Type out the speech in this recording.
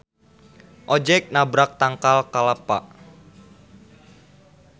Ojeg nabrak tangkal kalpa.